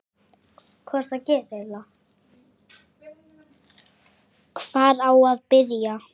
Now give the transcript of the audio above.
Hvar á að byrja?